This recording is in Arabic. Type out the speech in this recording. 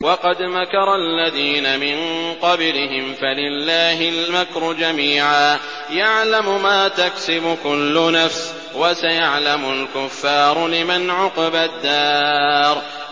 وَقَدْ مَكَرَ الَّذِينَ مِن قَبْلِهِمْ فَلِلَّهِ الْمَكْرُ جَمِيعًا ۖ يَعْلَمُ مَا تَكْسِبُ كُلُّ نَفْسٍ ۗ وَسَيَعْلَمُ الْكُفَّارُ لِمَنْ عُقْبَى الدَّارِ